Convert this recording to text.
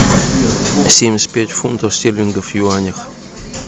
семьдесят пять фунтов стерлингов в юанях